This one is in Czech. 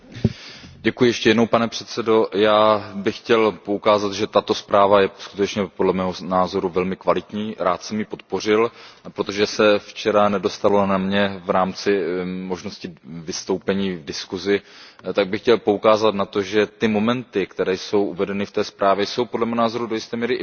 Pane předsedající, já bych chtěl poukázat, že tato zpráva je skutečně podle mého názoru velmi kvalitní, rád jsem ji podpořil, a protože se včera nedostalo na mě v rámci možnosti vystoupení v diskuzi, tak bych chtěl poukázat na to, že mnohé momenty, které jsou uvedeny ve zprávě, jsou podle mého názoru do jisté míry přenositelné na